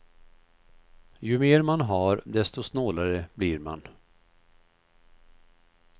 Ju mer man har desto snålare blir man.